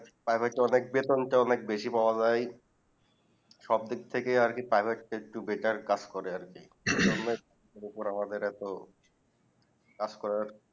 Private এ অনেক বেতন টা অনেক বেশি পাও যাই যায় সব দিক থেকে আর Private তা একটু betar কাজ করে আর কি এর উপরে আমাদের এত কাজ করার